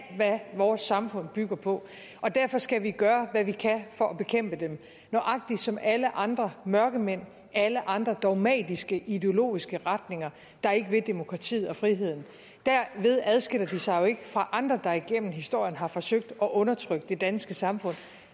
hvad vores samfund bygger på og derfor skal vi gøre hvad vi kan for at bekæmpe dem nøjagtig som alle andre mørkemænd og alle andre dogmatiske ideologiske retninger der ikke vil demokratiet og friheden derved adskiller de sig jo ikke fra andre der igennem historien har forsøgt at undertrykke det danske samfund